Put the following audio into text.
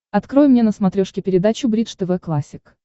открой мне на смотрешке передачу бридж тв классик